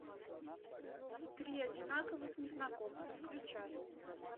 три одинаковых незнакомца включай